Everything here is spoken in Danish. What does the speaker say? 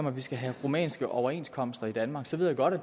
at vi skal have rumænske overenskomster i danmark så ved jeg godt at